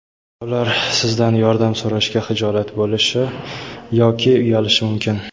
Ular sizdan yordam so‘rashga xijolat bo‘lishi yoki uyalishi mumkin.